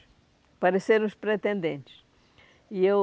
Apareceram os pretendentes. E eu